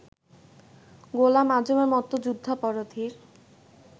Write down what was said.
গোলাম আযমের মতো যুদ্ধাপরাধীর